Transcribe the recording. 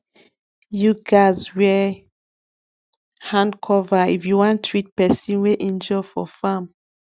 you gatz wear hand cover if you wan treat person wey injure for farm